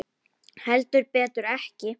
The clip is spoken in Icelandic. Heldur betur ekki.